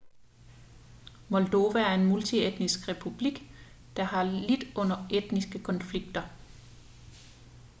moldova er en multietnisk republik der har lidt under etniske konflikter